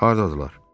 Hardadırlar?